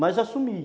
Mas assumi.